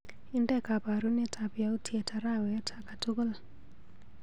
Inde kabarunetap yautyet arawet akatukul.